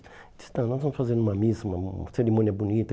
Ele disse, tá, nós vamos fazer uma missa, uma uma cerimônia bonita.